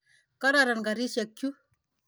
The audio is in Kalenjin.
Kororon karisyek chu.